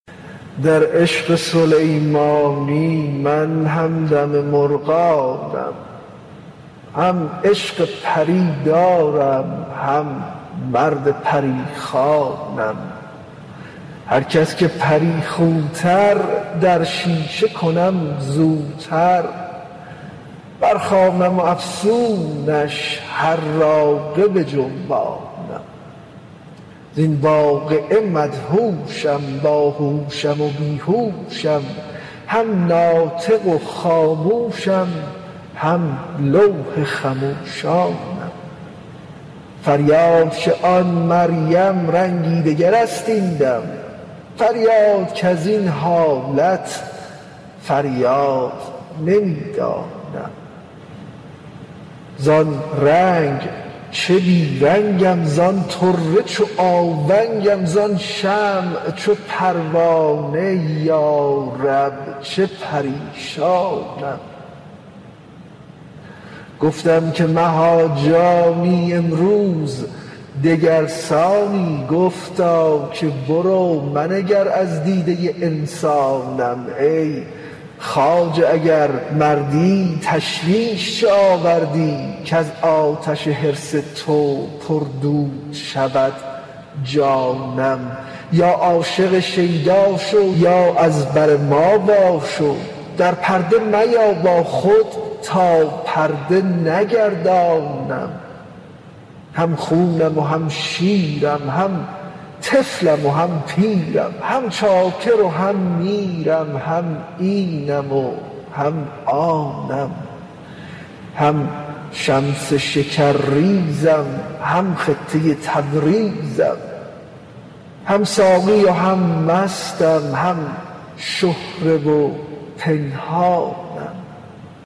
در عشق سلیمانی من همدم مرغانم هم عشق پری دارم هم مرد پری خوانم هر کس که پری خوتر در شیشه کنم زوتر برخوانم افسونش حراقه بجنبانم زین واقعه مدهوشم باهوشم و بی هوشم هم ناطق و خاموشم هم لوح خموشانم فریاد که آن مریم رنگی دگر است این دم فریاد کز این حالت فریاد نمی دانم زان رنگ چه بی رنگم زان طره چو آونگم زان شمع چو پروانه یا رب چه پریشانم گفتم که مها جانی امروز دگر سانی گفتا که برو منگر از دیده انسانم ای خواجه اگر مردی تشویش چه آوردی کز آتش حرص تو پردود شود جانم یا عاشق شیدا شو یا از بر ما واشو در پرده میا با خود تا پرده نگردانم هم خونم و هم شیرم هم طفلم و هم پیرم هم چاکر و هم میرم هم اینم و هم آنم هم شمس شکرریزم هم خطه تبریزم هم ساقی و هم مستم هم شهره و پنهانم